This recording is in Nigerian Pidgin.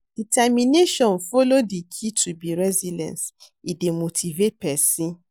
Determination follow for di key to be resilience, e dey motivate pesin.